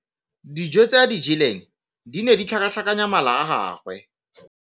Dijô tse a di jeleng di ne di tlhakatlhakanya mala a gagwe.